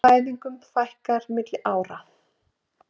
Fæðingum fækkar milli ára